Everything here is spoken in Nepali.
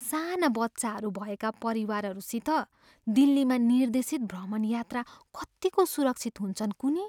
साना बच्चाहरू भएका परिवारहरूसित दिल्लीमा निर्देशित भ्रमण यात्रा कतिको सुरक्षित हुन्छन् कुन्नि?